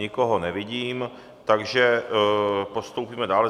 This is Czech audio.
Nikoho nevidím, takže postoupíme dále.